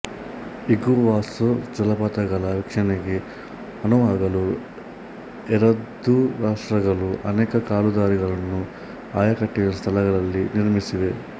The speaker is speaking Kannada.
ಇಗುವಾಸ್ಸು ಜಲಪಾತಗಳ ವೀಕ್ಷಣೆಗೆ ಅನುವಾಗಲು ಎರದೂ ರಾಷ್ಟ್ರಗಳು ಅನೇಕಾ ಕಾಲುದಾರಿಗಳನ್ನು ಆಯಕಟ್ಟಿನ ಸ್ಥಳಗಳಲ್ಲಿ ನಿರ್ಮಿಸಿವೆ